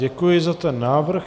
Děkuji za ten návrh.